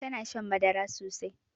Tana shan madara sosai